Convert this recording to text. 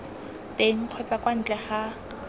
teng kgotsa kwa ntle ga